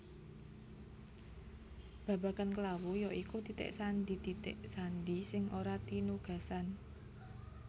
Babagan klawu ya iku titik sandi titik sandi sing ora tinugasan